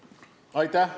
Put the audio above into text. Aitäh!